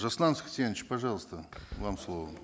жасулан хасенович пожалуйста вам слово